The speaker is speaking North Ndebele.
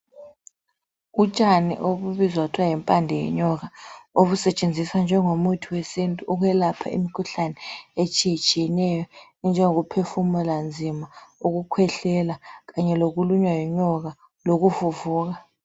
Utshani obubizwa kuthiwa yimpande yenyoka, obusetshenziswa njengomuthi wesintu ukwelapha imikhuhlane etshiyetshiyeneyo enjengokuphefumula nzima, ukukhwehlela kanye lokulunywa yinyoka lukuvuvuka.